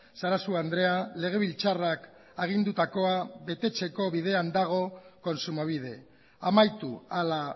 sarasua andrea legebiltzarrak agindutakoa betetzeko bidean dago kontsumobide amaitu hala